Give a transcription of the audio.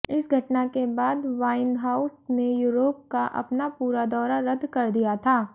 इस घटना के बाद वाइनहाउस ने यूरोप का अपना पूरा दौरा रद्द कर दिया था